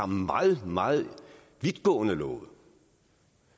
meget meget vidtgående love